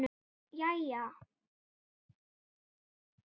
Jæja?